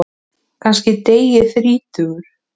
Kannski dey ég þrítugur.